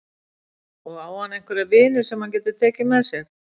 Og á hann einhverja vini sem hann getur tekið með sér?